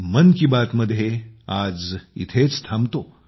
मन की बात मध्ये आज इथेच थांबतो